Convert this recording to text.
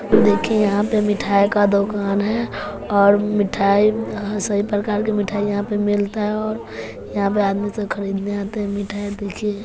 देखिए यहां पे मिठाय का दोकान है और मिठाई सभी प्रकार की मिठाई यहां पे मिलता है और यहां पे आदमी सब खरीदने आते हैं मिठाय देखिये।